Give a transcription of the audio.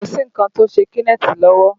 Kò sí nǹkan tí ó ṣe Kenneth lọ́wọ́